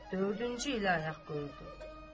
Dördüncü ilə ayaq qoyulurdu.